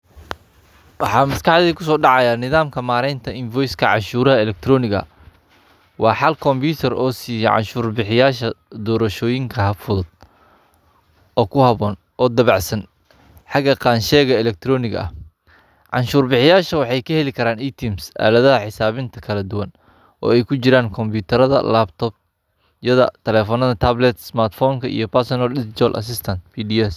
Waxaa maskaxdayda ku sodaca nadamka maranta infoyiska cashurad alchtronika, waa xal computer oo siya canshur bixiyasha dorashoyinka fudud oo ku habon oo dawacsan xaga qacshaka alctronika, cashuryasha waxay ka halikaran itimis aladaha xisawinta ooy ku jiran computerda laptopyada talafonyada taplad ismartfonka iyo personal digitol asistance.